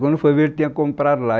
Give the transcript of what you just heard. Quando eu fui ver, ele tinha comprado lá.